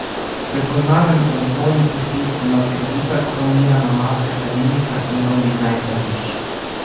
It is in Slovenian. Prepoznaven oblikovni podpis nadgradita kromirana maska hladilnika in nov dizajn platišč.